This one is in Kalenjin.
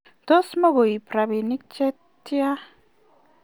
tos mukuib robinik che tya?